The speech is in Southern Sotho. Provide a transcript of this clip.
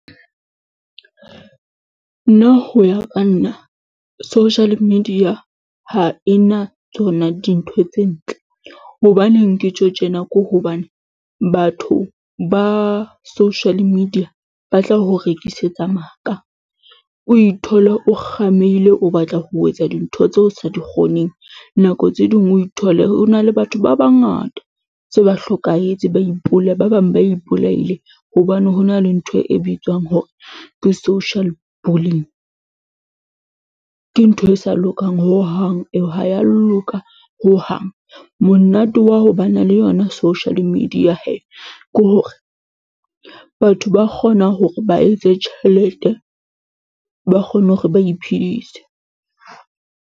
Nna ho ya ka nna social media ha ena tsona dintho tse ntle. Hobaneng ke tjho tjena? Ke hobane batho ba social media ba tla o rekisetsa maka, o ithole o kgameile o batla ho etsa dintho tseo o sa di kgoneng. Nako tse ding o ithole ho na le batho ba bangata tse ba hlokahetse, ba ipolaya, ba bang ba ipolaile hobane ho na le ntho e bitswang hore ke Social Bullying. Ke ntho e sa lokang hohang eo, ha ya loka hohang. Monate wa ho ba na le yona social media hee ke hore batho ba kgona hore ba etse tjhelete, ba kgone hore ba iphedise.